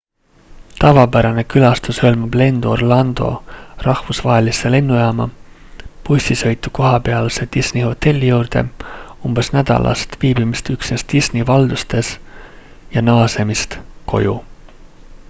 tavapärane külastus hõlmab lendu orlando rahvusvahelisse lennujaama bussisõitu kohapealse disney hotelli juurde umbes nädalast viibimist üksnes disney valdustes ja naasemist koju